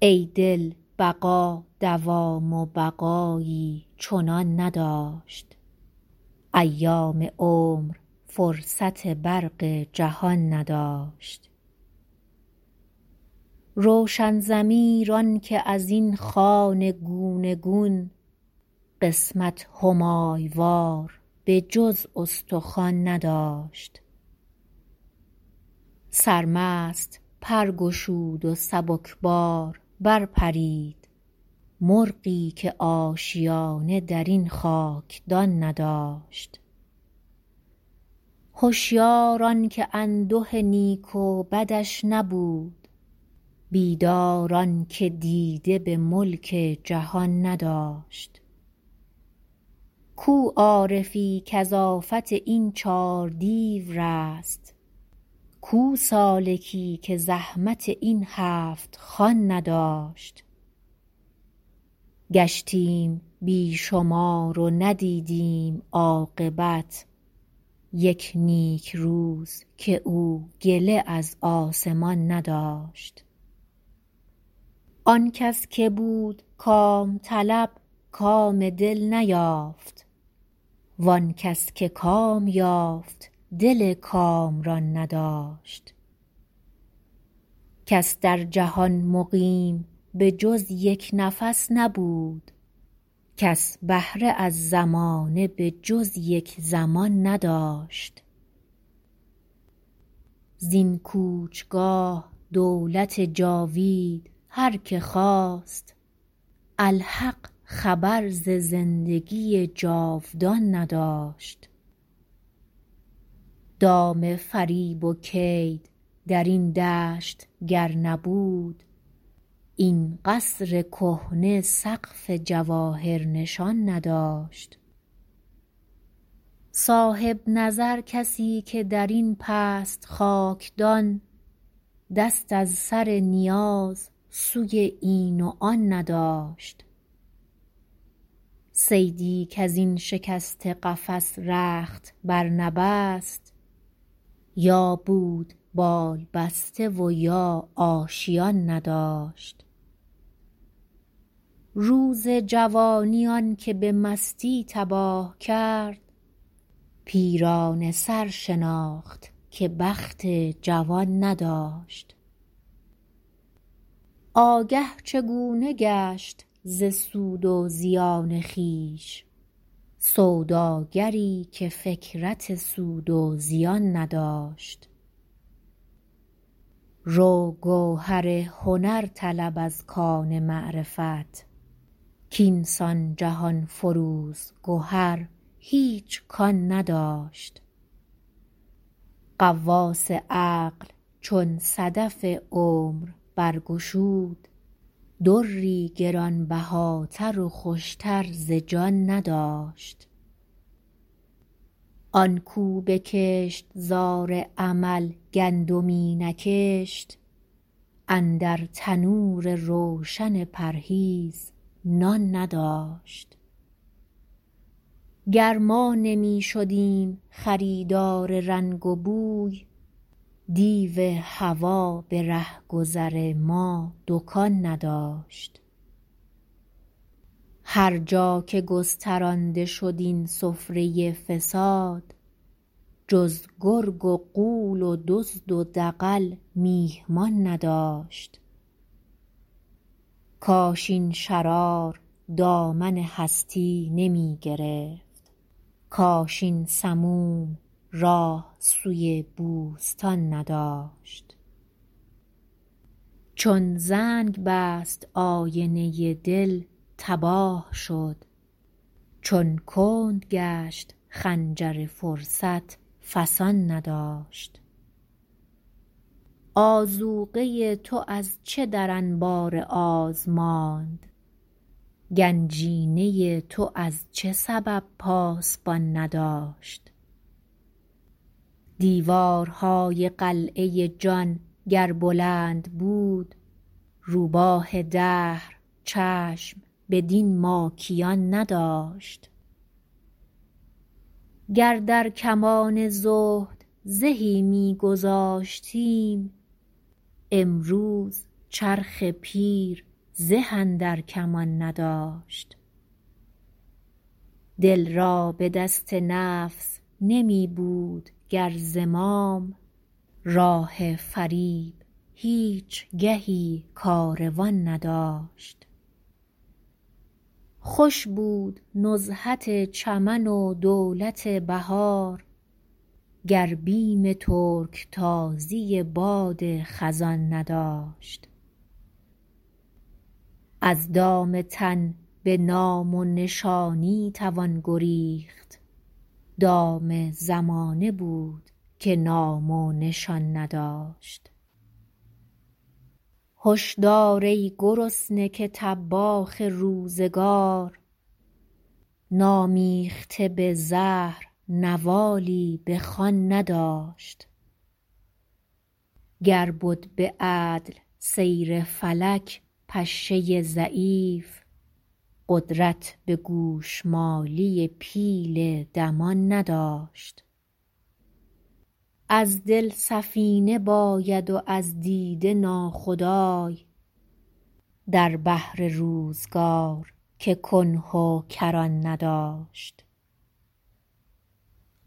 ای دل بقا دوام و بقایی چنان نداشت ایام عمر فرصت برق جهان نداشت روشن ضمیر آنکه ازین خوان گونه گون قسمت همای وار به جز استخوان نداشت سرمست پر گشود و سبکسار برپرید مرغی که آشیانه درین خاکدان نداشت هشیار آنکه انده نیک و بدش نبود بیدار آنکه دیده بملک جهان نداشت کو عارفی کز آفت این چار دیو رست کو سالکی که زحمت این هفتخوان نداشت گشتیم بی شمار و ندیدیم عاقبت یک نیکروز کاو گله از آسمان نداشت آنکس که بود کام طلب کام دل نیافت وانکس که کام یافت دل کامران نداشت کس در جهان مقیم به جز یک نفس نبود کس بهره از زمانه به جز یک زمان نداشت زین کوچگاه دولت جاوید هر که خواست الحق خبر ز زندگی جاودان نداشت دام فریب و کید درین دشت گر نبود این قصر کهنه سقف جواهر نشان نداشت صاحب نظر کسیکه درین پست خاکدان دست از سر نیاز سوی این و آن نداشت صیدی کزین شکسته قفس رخت برنبست یا بود بال بسته و یا آشیان نداشت روز جوانی آنکه به مستی تباه کرد پیرانه سر شناخت که بخت جوان نداشت آگه چگونه گشت ز سود و زیان خویش سوداگری که فکرت سود و زیان نداشت روگوهر هنر طلب از کان معرفت کاینسان جهانفروز گهر هیچ کان نداشت غواص عقل چون صدف عمر برگشود دری گرانبهاتر و خوشتر ز جان نداشت آنکو به کشتزار عمل گندمی نکشت اندر تنور روشن پرهیز نان نداشت گر ما نمیشدیم خریدار رنگ و بوی دیو هوی برهگذر ما دکان نداشت هر جا که گسترانده شد این سفره فساد جز گرگ و غول و دزد و دغل میهمان نداشت کاش این شرار دامن هستی نمی گرفت کاش این سموم راه سوی بوستان نداشت چون زنگ بست آینه دل تباه شد چون کند گشت خنجر فرصت فسان نداشت آذوقه تو از چه در انبار آز ماند گنجینه تو از چه سبب پاسبان نداشت دیوارهای قلعه جان گر بلند بود روباه دهر چشم بدین ماکیان نداشت گر در کمان زهد زهی میگذاشتیم امروز چرخ پیر زه اندر کمان نداشت دل را بدست نفس نمیبود گر زمام راه فریب هیچ گهی کاروان نداشت خوش بود نزهت چمن و دولت بهار گر بیم ترکتازی باد خزان نداشت از دام تن بنام و نشانی توان گریخت دام زمانه بود که نام و نشان نداشت هشدار ای گرسنه که طباخ روزگار نامیخته به زهر نوالی بخوان نداشت گر بد بعدل سیر فلک پشه ضعیف قدرت بگوشمالی پیل دمان نداشت از دل سفینه باید و از دیده ناخدای در بحر روزگار که کنه و کران نداشت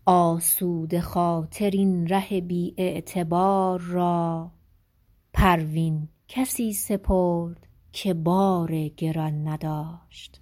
آسوده خاطر این ره بی اعتبار را پروین کسی سپرد که بار گران نداشت